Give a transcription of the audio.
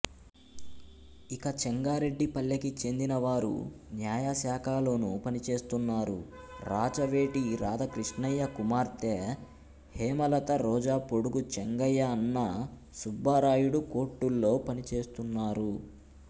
ఇక చెంగారెడ్డిపల్లెకి చెందిన వారు న్యాయశాఖలోనూ పనిచేస్తున్నారు రాచవేటి రాధాక్రిష్ణయ్య కుమార్తే హేమలతరోజాపోడుగు చెంగయ్య అన్న సుబ్బరాయుడు కోర్టుల్లో పనిచేస్తున్నారు